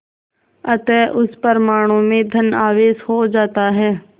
अतः उस परमाणु में धन आवेश हो जाता है